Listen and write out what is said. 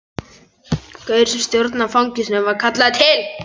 Gaurinn sem stjórnar fangelsinu var kallaður til.